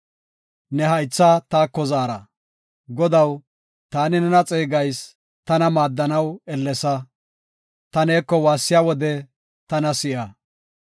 Godaw, taani nena xeegayis; tana maaddanaw ellesa; Ta neeko waassiya wode tana si7a!